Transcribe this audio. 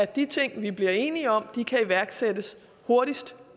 de ting vi bliver enige om kan iværksættes hurtigst